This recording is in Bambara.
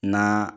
Na